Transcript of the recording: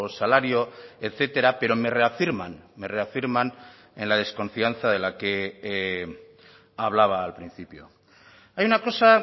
salario etcétera pero me reafirman me reafirman en la desconfianza de la que hablaba al principio hay una cosa